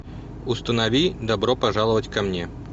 установи добро пожаловать ко мне